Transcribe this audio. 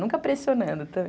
Nunca pressionando também.